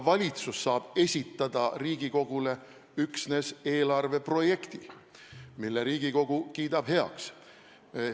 Valitsus saab esitada üksnes eelarveprojekti, mille Riigikogu kiidab heaks.